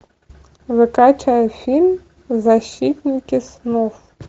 закачай фильм защитники снов